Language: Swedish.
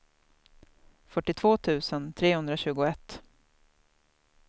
fyrtiotvå tusen trehundratjugoett